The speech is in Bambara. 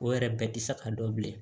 O yɛrɛ bɛɛ tɛ sa ka dɔn bilen